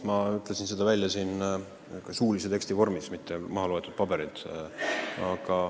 Ma ütlesin seda suulise teksti vormis, mitte mahaloetuna paberilt.